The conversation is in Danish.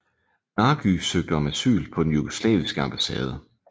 Nagy søgte om asyl på den jugoslaviske ambassade